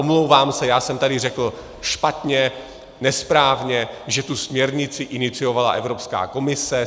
Omlouvám se, já jsem tady řekl špatně, nesprávně, že tu směrnici iniciovala Evropská komise.